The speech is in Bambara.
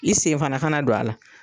I sen fana ka na don a la.